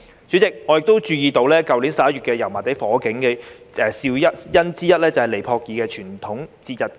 主席，我亦注意到，去年11月油麻地火警的肇因之一，就是尼泊爾傳統節日——排燈節。